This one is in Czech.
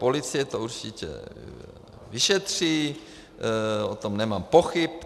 Policie to určitě vyšetří, o tom nemám pochyb.